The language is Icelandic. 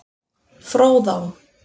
Fróðá